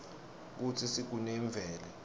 kutsi sigune imvelo